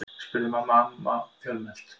spurði Hanna-Mamma fljótmælt.